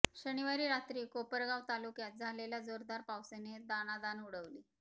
शनिवारी रात्री कोपरगाव तालुक्यात झालेल्या जोरदार पावसाने दाणादाण उडाली